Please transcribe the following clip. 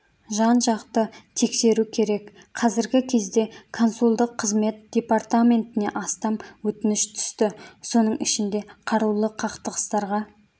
жан-жақты тексеру керек қазіргі кезде консулдық қызмет департаментіне астам өтініш түсті соның ішінде қарулы қақтығыстарға